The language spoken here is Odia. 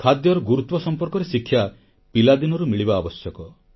ଖାଦ୍ୟର ଗୁରୁତ୍ୱ ସମ୍ପର୍କରେ ଶିକ୍ଷା ପିଲାଦିନରୁ ମିଳିବା ଆବଶ୍ୟକ